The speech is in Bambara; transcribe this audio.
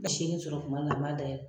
bɛ seegin sɔrɔ tuma dɔ an b'a dayɛlɛ